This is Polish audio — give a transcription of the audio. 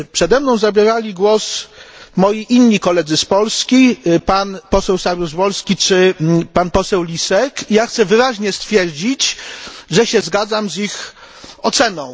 Przede mną zabierali głos inni moi koledzy z Polski, pan poseł Saryusz Wolski czy pan poseł Lisek, i ja chcę wyraźnie stwierdzić, że się zgadzam z ich oceną.